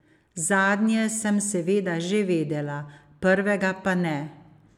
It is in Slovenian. Zadnje sem seveda že vedela, prvega pa ne.